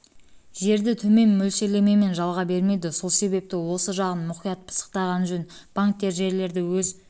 жерді төмен мөлшерлемемен жалға бермейді сол себепті осы жағын мұқият пысықтаған жөн банктер жерлерді өз